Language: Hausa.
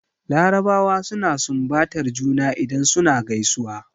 Larabawa suna sunbatar juna idan suna gaisuwa.